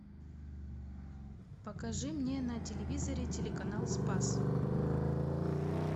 покажи мне на телевизоре телеканал спас